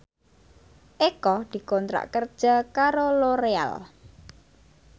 Eko dikontrak kerja karo Loreal